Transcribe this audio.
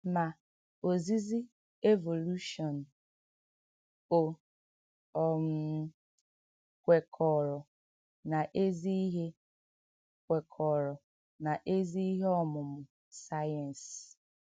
Mà, òzìzì Évòlùshọǹ ò um kwèkọ̀rọ̀ n’èzì íhè kwèkọ̀rọ̀ n’èzì íhè ọ̀mụ́mụ́ sàyẹ́nsì?